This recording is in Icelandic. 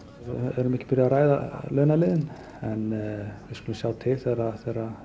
við erum ekki byrjuð að ræða launaliðinn við skulum sjá til þegar